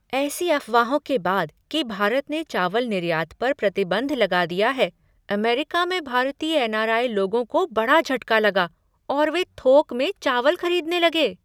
ऐसी अफवाहों के बाद कि भारत ने चावल निर्यात पर प्रतिबंध लगा दिया है, अमेरिका में भारतीय एन.आर.आई. लोगों को बड़ा झटका लगा और वे थोक में चावल खरीदने लगे।